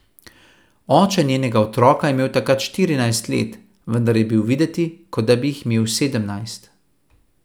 Oče njenega otroka je imel takrat štirinajst let, vendar je bil videti, kot bi jih imel sedemnajst.